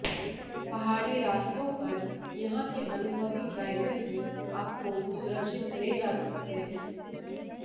पहाड़ी रास्तों पर यहां के अनुभवी ड्राइवर ही आपको सुरक्षित ले जा सकते हैं